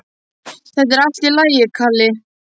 Þetta er allt í lagi, Kalli.